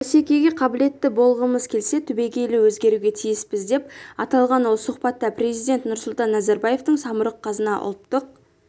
бәсекеге қабілетті болғымыз келсе түбегейлі өзгеруге тиіспіз деп аталған ол сұхбатта президент нұрсұлтан назарбаевтың самұрық-қазына ұлттық